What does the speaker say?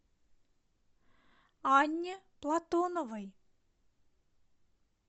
анне платоновой